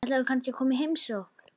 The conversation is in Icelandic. Ætlarðu kannski að koma í heimsókn?